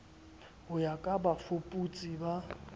ho ya ka bafuputsi ba